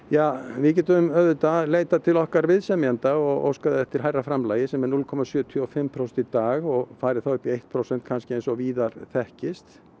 við getum auðvitað leitað til okkar viðsemjenda og óskað eftir hærra framlagi sem er núll komma sjötíu og fimm prósent í dag og farið upp í eitt prósent eins og víðar þekkist